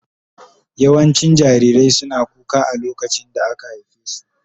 Yawancin jarirai suna kuka a lokacin da aka haife su.